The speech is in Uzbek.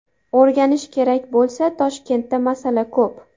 O‘rganish kerak bo‘lsa, Toshkentda masala ko‘p.